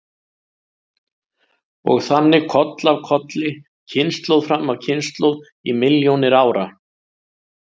Og þannig koll af kolli, kynslóð fram af kynslóð í milljónir ára.